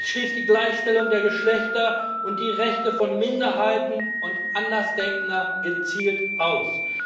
Das schließt die Gleichstellung der Geschlechter und die Rechte von Minderheiten und Andersdenkender gezielt aus.